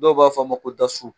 Dɔw b'a fɔ ma ko dasu